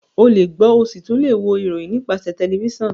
olè gbo o sí tún lẹ wò ìròyìn nípasẹ tẹlifísàn